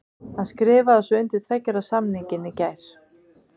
Hann skrifaði svo undir tveggja ára samningin í gær.